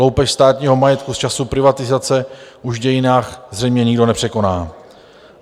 Loupež státního majetku z časů privatizace už v dějinách zřejmě nikdo nepřekoná.